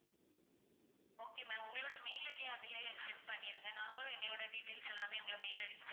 okay ma'am உங்களோட mail ID அதிலேயே send பண்ணிடுங்க. நாங்களும் எங்களோட details எல்லாமே உங்களோட mail ID க்கு send